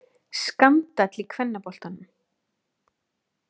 Skandall í kvennaboltanum.